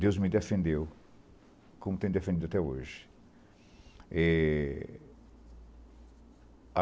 Deus me defendeu, como tem defendido até hoje. E